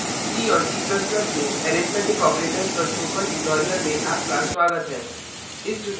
c c ++ में arithmetic arithmetic operators पर spoken tutorial में आपका स्वागत है